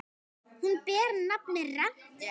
Hún ber nafn með rentu.